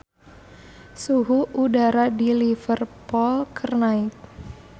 Suhu udara di Liverpool keur naek